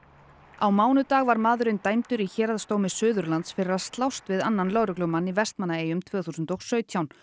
á mánudag var maðurinn dæmdur í Héraðsdómi Suðurlands fyrir að slást við annan lögreglumann í Vestmannaeyjum tvö þúsund og sautján